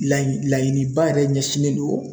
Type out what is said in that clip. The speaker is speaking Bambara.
Laɲi laɲiniba yɛrɛ ɲɛsinnen do